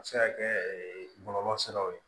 A bɛ se ka kɛ bɔlɔlɔ siraw ye